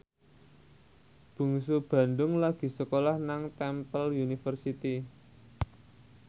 Bungsu Bandung lagi sekolah nang Temple University